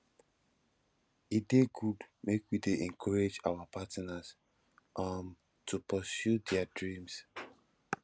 e dey good make we dey encourage our partners um to pursue their dreams